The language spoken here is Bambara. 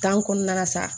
kɔnɔna la sa